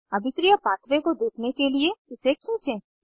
अभिक्रिया पाथवे को देखने के लिए इसे खींचें